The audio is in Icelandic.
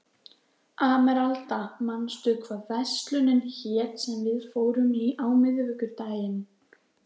Emeralda, manstu hvað verslunin hét sem við fórum í á miðvikudaginn?